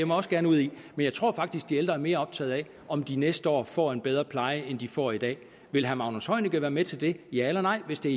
mig også gerne ud i men jeg tror faktisk at de ældre er mere optaget af om de næste år får en bedre pleje end de får i dag vil herre magnus heunicke være med til det ja eller nej hvis det